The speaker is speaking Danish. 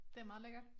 Det meget lækkert